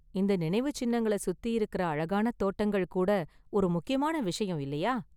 இந்த நினைவு சின்னங்கள சுத்தி இருக்குற அழகான தோட்டங்கள் கூட ஒரு முக்கியமான விஷயம், இல்லையா?